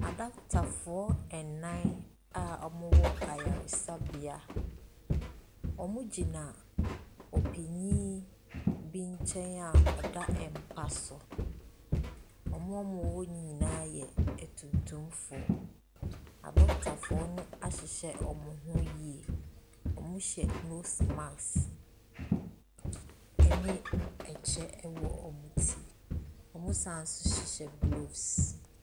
Adokotafoɔ ɛnnan a wɔn mo wɔ ayaresabea. Wɔn mo gyina ɔpanin bi nkyɛn a wɔda mpa so. Wɔn a wɔhɔ no nyinaa yɛ atumtumfoɔ. Adokotafoɔ no ahyehyɛ wɔn mo ho yie. Wɔn hyɛ nose mask ɛne ɛkyɛ ɛwɔ wɔn ti; wɔn sane nso hyehyɛ glofs.